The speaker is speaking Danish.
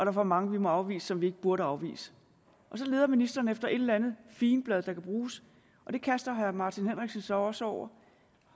er for mange vi må afvise som vi ikke burde afvise så leder ministeren efter et eller andet figenblad der kan bruges og det kaster herre martin henriksen sig også over